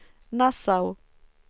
Nassau